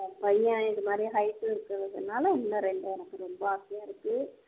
பையன் இதுமாதிரி height உம் இருக்குறதுனாலே எனக்கு ரொம்ப ஆசையா இருக்கு